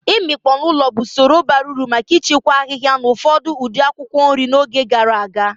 Room drying was a practical technique for preserving herbs and certain types of vegetables in the past.